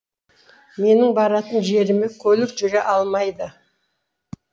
менің баратын жеріме көлік жүре алмайды